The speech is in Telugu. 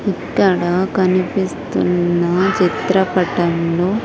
ఇక్కడ కనిపిస్తున్న చిత్రపటంలో.